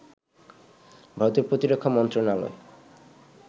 ভারতের প্রতিরক্ষা মন্ত্রণালয়